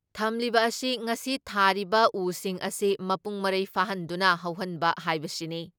ꯊꯝꯂꯤꯕ ꯑꯁꯤ ꯉꯁꯤ ꯊꯥꯔꯤꯕ ꯎꯁꯤꯡ ꯑꯁꯤ ꯃꯄꯨꯡ ꯃꯔꯩ ꯐꯥꯍꯟꯗꯨꯅ ꯍꯧꯍꯟꯕ ꯍꯥꯏꯕꯁꯤꯅꯤ ꯫